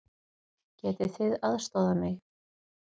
Getið þið aðstoðað mig?